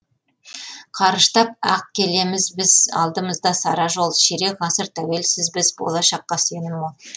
қарыштап ақ келеміз біз алдымызда сара жол ширек ғасыр тәуелсіз біз болашаққа сенім мол